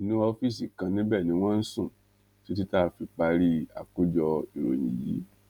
inú ọfíìsì kan níbẹ ni wọn ń sùn títí tá a fi parí àkójọ ìròyìn yìí